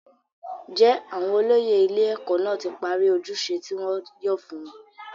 jẹ́ àwọn olóyè ilé-ẹ̀kọ́ náà ti parí ojúṣe tí wọ́n yàn fún wọn?